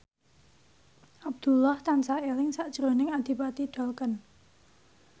Abdullah tansah eling sakjroning Adipati Dolken